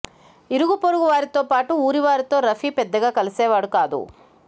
ఇరుగు పొరుగు వారితో పాటు ఊరివారితో రఫీ పెద్దగా కలిసేవాడు కాదు